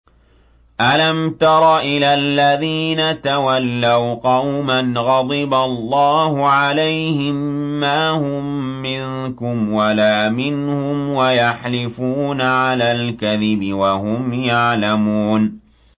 ۞ أَلَمْ تَرَ إِلَى الَّذِينَ تَوَلَّوْا قَوْمًا غَضِبَ اللَّهُ عَلَيْهِم مَّا هُم مِّنكُمْ وَلَا مِنْهُمْ وَيَحْلِفُونَ عَلَى الْكَذِبِ وَهُمْ يَعْلَمُونَ